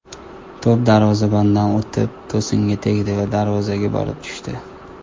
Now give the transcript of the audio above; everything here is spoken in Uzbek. To‘p darvozabondan o‘tib, to‘singa tegdi va darvozaga borib tushdi.